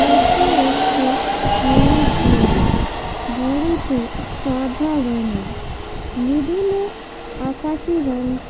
এটি একটি বড় বাড়ি বাড়িটি সাদা রঙের মিডিল -এ আকাশি রং ক --